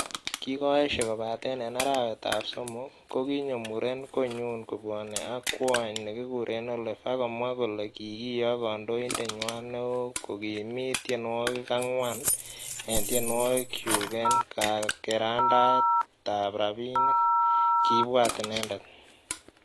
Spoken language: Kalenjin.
"Kikoyeshe kobaten en arawetab somok ,kokinyo muren konyun kobwone ak kwony nekikuren Olive ak komwa kole kikiyok kandoindenywan neo kogimit tienwogik angwan en tienwogikyuk en kakerandaetab rabinik,"Kibwat inendet.